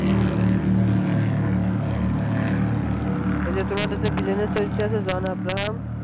এই যে তোমার যে villain এর চরিত্রে আছে john abraham